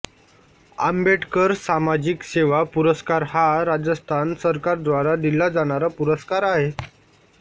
आंबेडकर सामाजिक सेवा पुरस्कार हा राजस्थान सरकार द्वारा दिला जाणारा पुरस्कार आहे